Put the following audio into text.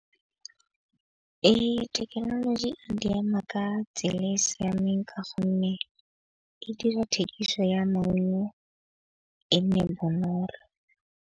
Thekenoloji e di ama ka tsela e e siameng ka gonne e dira thekiso ya maungo e nne bonolo.